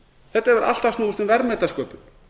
þetta hefur alltaf snúist um verðmætasköpun